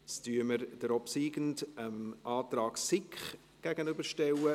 Jetzt stellen wir den obsiegenden Antrag dem Antrag SiK gegenüber.